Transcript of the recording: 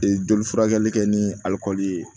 joli furakɛli kɛ ni alikɔli ye